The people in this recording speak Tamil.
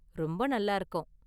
ரொம்ப நல்லா இருக்கும்.